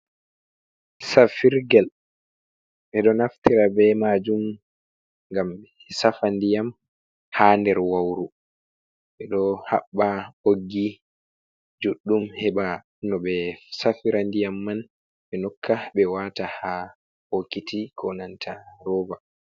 Safirgel, ɓeɗo naftira be majum ngam ɓe safa ndiyam ha nder wauru ɓeɗo habba boggi juɗɗum heɓa no be safira ndiyam man ɓe nokka ɓe wata ha bokiti ko nanta roba.